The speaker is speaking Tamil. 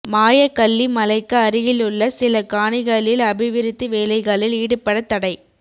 மாயக்கல்லி மலைக்கு அருகிலுள்ள சில காணிகளில் அபிவிருத்தி வேலைகளில் ஈடுபடத் தடை